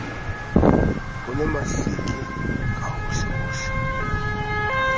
ho le mahleke ka hohlehohle